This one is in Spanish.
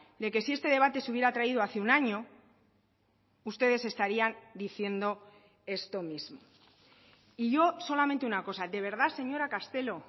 de que si este debate se hubiera traído hace un año ustedes estarían diciendo esto mismo y yo solamente una cosa de verdad señora castelo